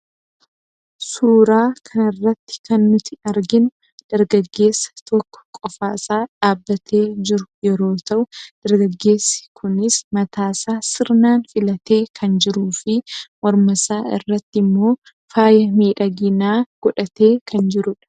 suuraa kana irratti kan nuti arginu dargaggeessa tokko qofaasaa dhaabbatee jiru yeroo ta'u dargaggeessi kunis mataasaa sirnaan filatee kan jiru fi mormasaa irratti immoo faaya miidhaginaa godhatee kan jirudha.